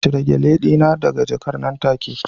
Cire Gele dina daga jakar nan take